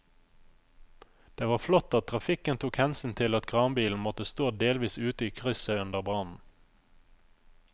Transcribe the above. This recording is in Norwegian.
Det var flott at trafikken tok hensyn til at kranbilen måtte stå delvis ute i krysset under brannen.